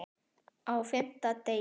Á FIMMTA DEGI